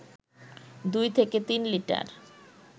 দুই থেকে তিন লিটার